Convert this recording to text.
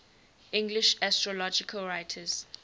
english astrological writers